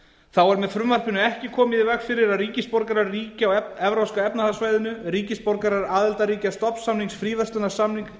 þá er með frumvarpinu ekki komið í veg fyrir að ríkisborgarar ríkja á evrópska efnahagssvæðinu ríkisborgarar aðildarríkja stofnsamnings fríverslunarsamtaka